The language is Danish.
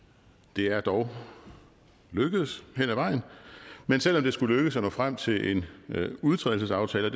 det er dog lykkedes hen ad vejen men selv om det skulle lykkes at nå frem til en udtrædelsesaftale og